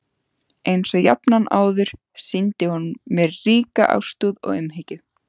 Einsog jafnan áður sýndi hún mér ríka ástúð og umhyggju.